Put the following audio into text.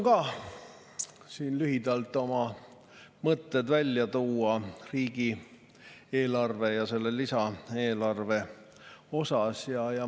Katsun lühidalt välja tuua oma mõtted riigieelarve ja eelarve kohta.